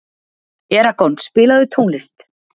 Eragon, spilaðu tónlist.